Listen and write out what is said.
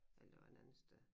Eller det var en anden sted